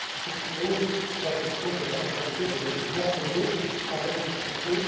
ce qui pose la question de la conformité des régimes nationaux avec les traités.